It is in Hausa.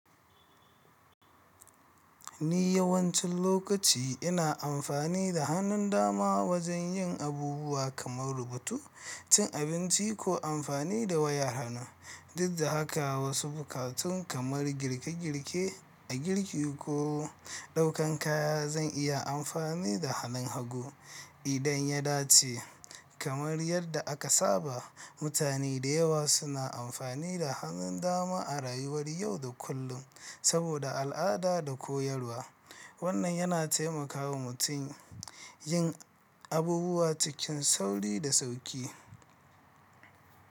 Ni yawancin lokaci ina amfani da hannun dama wajen yin abubuwa kamar rubutu, cin abinci ko amfani da wayar hannu. Dud da haka wasu buƙatun kamar girke-girke a girki ko ɗaukan kaya zan iya amfani da hannun hagu idan ya dace. Kamar yadda aka saba, mutane dayawa suna amfani da hannun dama a rayuwar yau da kullun saboda al'ada da koyarwa. Wannan yana taimakawa mutum yin abubuwa cikin sauri da sauƙi.